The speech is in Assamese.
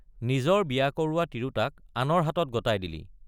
নিজৰ বিয়া কৰোৱা তিৰোতাক আনৰ হাতত গতাই দিলি।